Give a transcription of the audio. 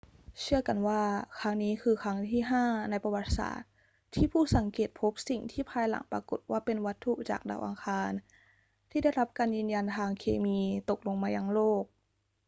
เชื่อกันว่าครั้งนี้คือครั้งที่ห้าในประวัติศาสตร์ที่ผู้สังเกตพบสิ่งที่ภายหลังปรากฏว่าเป็นวัตถุจากดาวอังคารที่ได้รับการยืนยันทางเคมีตกลงมายังโลก